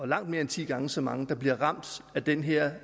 langt mere end ti gange så mange der bliver ramt af den her